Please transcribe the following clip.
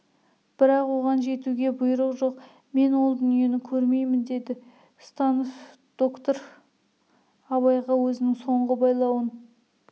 бірақ оған жетуге бұйрық жоқ мен ол дүниені көрмеймін дейді станов доктор абайға өзінің соңғы байлауын